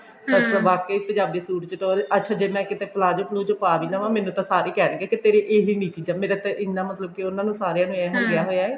ਅਸੀਂ ਤਾਂ ਪਾਕੇ ਹੀ ਪੰਜਾਬੀ suit ਚ ਤਾਂ ਉਰੇ ਅੱਠ ਜਿੰਨਾ ਕਿਤੇ palazzo suit ਪਾ ਵੀ ਲਵਾਂ ਮੈਨੂੰ ਤਾਂ ਸਾਰੇ ਕਹਿਣਗੇ ਵੀ ਤੇਰੇ ਇਹੀ ਨੀ ਠੀਕ ਏ ਮੇਰਾ ਤਾਂ ਇੰਨਾ ਮਤਲਬ ਕਿ ਉਹਨਾ ਨੂੰ ਸਾਰਿਆ ਨੂੰ ਇਹੋ ਕਿਹਾ ਹੋਇਆ